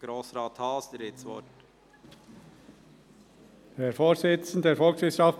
Grossrat Haas, Sie haben das Wort.